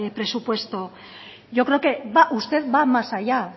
presupuesto yo creo que va usted va más allá